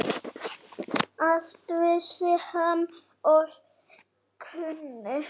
Allt vissi hann og kunni.